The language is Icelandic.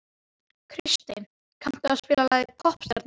Kristey, kanntu að spila lagið „Poppstjarnan“?